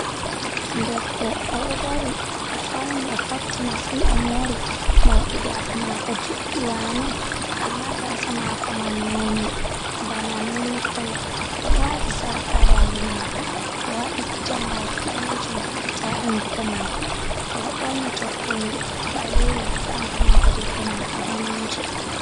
Debbo o ɗo dari, o fawni o fotti masin, o moori, moordi gaasa maako juuɗɗi, waane, amma gaasa maako man nonnde bana milik kolo, o ɗo waati sark haa daande maako, o waɗi jambaaki ɓaleejum haa gite, haa hunnduko maako, o ɗo ɓorni toggowel ɓaleeyel haa ɓanndu maako, debbo man o daneejo.